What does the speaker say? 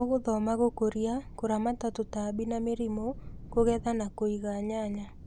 ũgũthoma gũkũria, kũramata tũtambi na mĩrimũ, kũgetha na kũiga nyanya